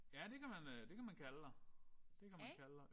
Ja det kan man det kan man kalde dig. Det kan man kalde dig